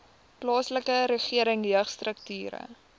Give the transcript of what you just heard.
plaaslike regering jeugstrukture